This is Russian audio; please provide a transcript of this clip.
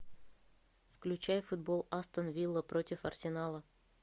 включай футбол астон вилла против арсенала